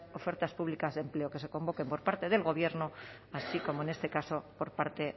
ofertas públicas de empleo que se convoquen por parte del gobierno así como en este caso por parte